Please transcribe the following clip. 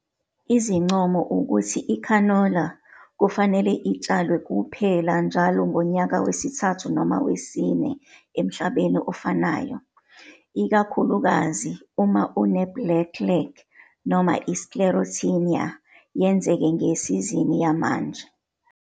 Izincomo ukuthi ikhanola kufanele itshalwe kuphela njalo ngonyaka wesithathu noma wesine emhlabeni ofanayo, ikakhulukazi uma une-black leg noma i-Sclerotinia yenzeke ngesizini yamanje.